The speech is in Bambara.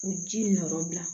U ji nɔra